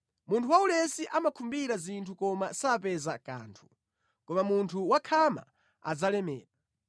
Munthu waulesi amakhumbira zinthu koma sapeza kanthu, koma munthu wakhama adzalemera.